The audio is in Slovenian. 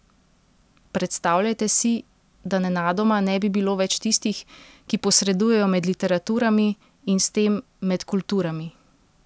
Predstavljajte si, da nenadoma ne bi bilo več tistih, ki posredujejo med literaturami in s tem med kulturami!